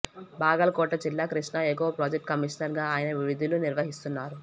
బాగల్ కోట జిల్లా కృష్ణా ఎగువ project commissioner గా ఆయన విధులు నిర్వహిస్తున్నారు